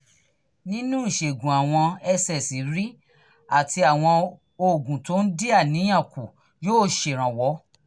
nínú ìṣègùn àwọn ssri àti àwọn oògùn tó ń dín àníyàn kù yóò ṣèrànwọ́